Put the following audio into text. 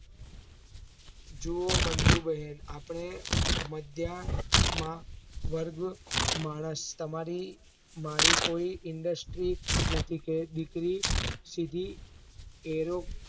જુવો મંજુ બહેન આપણે મધ્યા માં વર્ગમાં માણસ તમારી મારી કોઈ indstree નથી કે દીકરી સીધી એરો